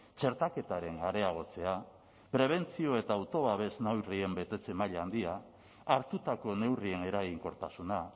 txertaketaren areagotzea prebentzio eta autobabes neurrien betetze maila handia hartutako neurrien eraginkortasuna